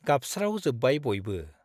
गाबस्राव जोब्बाय बयबो ।